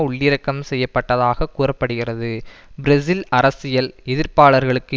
உள்ளிறக்கம் செய்ய பட்டதாக கூற படுகிறது பிரேசில் அரசியல் எதிர்ப்பாளர்களுக்கு